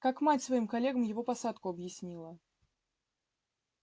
как мать своим коллегам его посадку объясняла